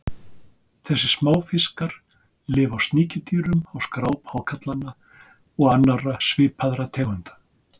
Þessir smáfiskar lifa á sníkjudýrum á skráp hákarlanna og annarra svipaðra tegunda.